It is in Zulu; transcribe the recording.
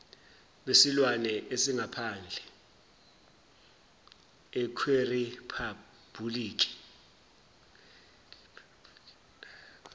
besilwane esingaphandle kweriphabhuliki